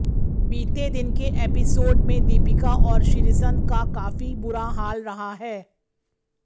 बीते दिन के एपिसोड में दीपिका और श्रीसंत का काफी बुरा हाल रहा है